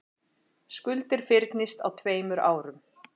Skuldir fyrnist á tveimur árum